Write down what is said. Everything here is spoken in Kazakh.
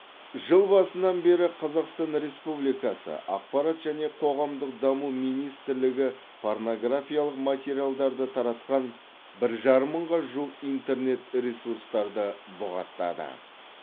жыл басынан бері қазақстан республикасы ақпарат және қоғамдық даму министрлігі порнографиялық материалдарды таратқан бір жарым мыңға жуық интернет ресурсты бұғаттады